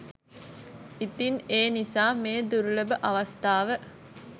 ඉතින් ඒ නිසා මේ දුර්ලභ අවස්ථාව